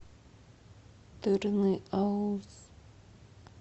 тырныауз